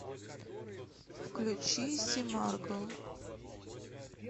включи симаргл